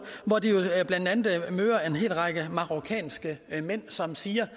hvor de blandt andet møder en hel række marokkanske mænd som siger